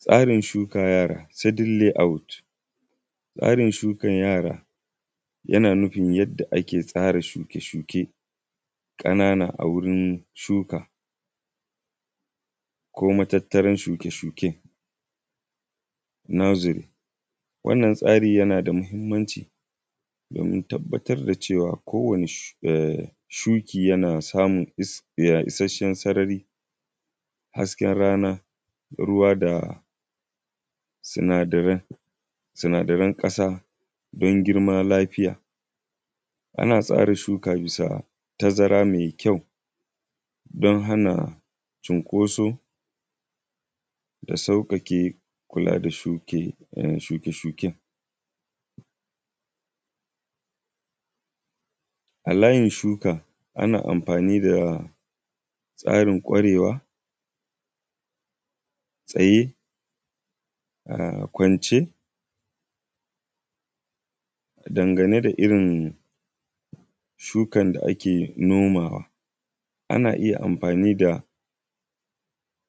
Tsarin shuka yara seddenly out, tsarin sukan yara yana nufin yadda ake tsara shuke-shuke ƙanana a wurin shuka koa matattarar shuke-shuke na nursery. Wannan tsarin yana da muhimmanci domin tabbatar da cewa kowane shuki yana samun cikakken sarari da hasken rana, ruwa da sanadarai na ƙasa don girma lafiya. Ana tsari shuka bisa tazara mai ƙyau don hana cinkoso da sauƙaƙe kula da shuke-shuke. A layin shuka ana amfani da layin ƙwarewa tsaye kwance, dangane da irin shukar da ake nomawa ana iya amfani da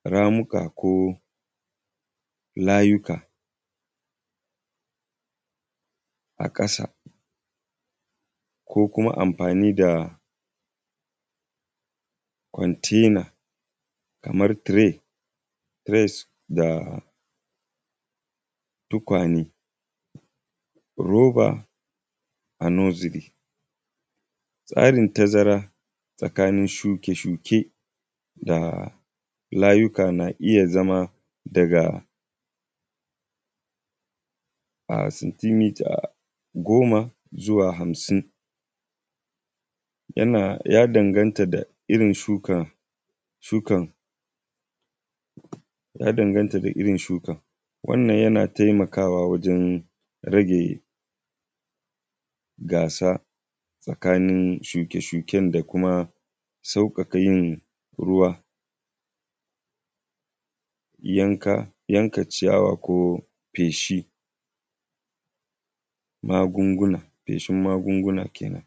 ramuka ko layuka a ƙasa ko kuma amfani da container kamar tray da tukwane roba a nursery. Tsarin tazarar tsakanin shuke-shuke da layuka na iya zama daga centimeters goma zuwa hamsun. Ya danganta da irin sukar. Wannan yana taimakawa wajen rage gasa tsakanin shuke-shuke da kuma sauƙaƙe ruwa yanka ciyawa ko feshin gungunguna kenan.